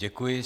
Děkuji.